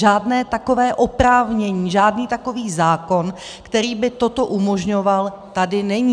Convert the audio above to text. Žádné takové oprávnění, žádný takový zákon, který by toto umožňoval, tady není.